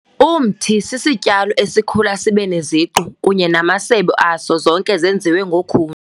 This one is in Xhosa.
Umthi sisityalo esikhula sibe sinesiqu kunye namasebe aso zonke zenziwe ngokhuni.